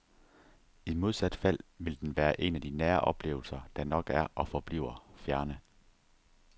I modsat fald vil den være en af nære oplevelser, der nok er og forbliver fjerne.